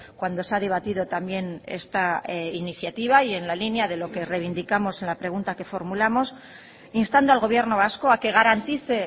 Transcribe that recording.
cuando se ha debatido también esta iniciativa y en la línea de lo que reivindicamos la pregunta que formulamos instando al gobierno vasco a que garantice